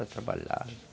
Ela trabalhava.